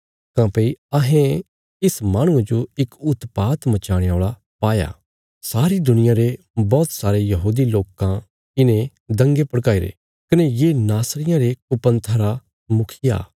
काँह्भई अहें इस माहणुये जो इक उत्पात मचाणे औल़ा पाया सारी दुनिया रे बौहत सारे यहूदी लोकां इने दंगे भड़काईरे कने ये नासरियां रे कुपंथा रा मुखिया